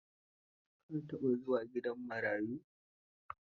Ka taɓa zuwa gidan marayu?